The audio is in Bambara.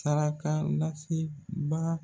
Saraka lasebaga.